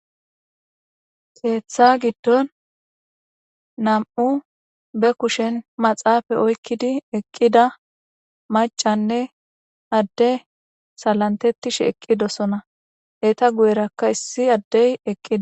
Keeththa giddon nam7u be kushen maxaafa oykkidi eqqida maccanne adde salantetishe eqqidosona. eta guyerakka issi addey eqqi.